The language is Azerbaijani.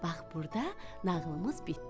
Bax burda nağılımız bitdi.